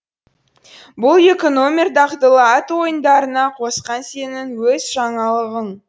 бұл екі номер дағдылы ат ойындарына қосқан сенің өз жаңалығың